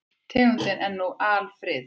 Tegundin er nú alfriðuð.